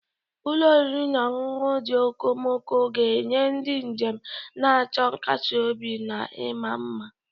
Ụlọ oriri na ọṅụṅụ ndị okomoko ga-enye ndị njem na-achọ nkasi obi na ịma mma.